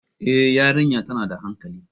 Eh, yariya tana da hankali